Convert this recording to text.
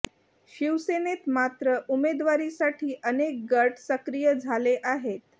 शिवसेनेत मात्र उमेदवारीसाठी अनेक गट सक्रिय झाले आहेत